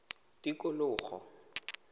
tikologo